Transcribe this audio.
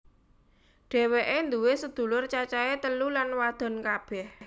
Dhéwéké nduwé sedulur cacahé telu lan wadon kabeh